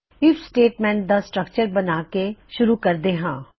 IF statement ਦਾ structure ਬਣਾ ਕੇ ਸ਼ੁਰੂ ਕਰਦੇ ਹਾਂ